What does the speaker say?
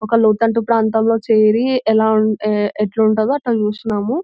ఒక లోతట్టు ప్రాంతంలో చేరి ఎలా ఎట్లుంటదో అట్లా చూస్తున్నాము.